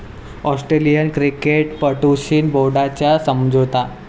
Australian क्रिकेटपटूंशी बोर्डाचा समझोता